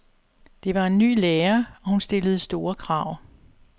Det var en ny lærer, og hun stillede store krav.